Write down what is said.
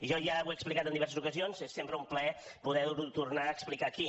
jo ja ho he explicat en diverses ocasions és sempre un plaer poder ho tornar a explicar aquí